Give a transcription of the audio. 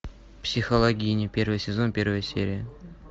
психологини первый сезон первая серия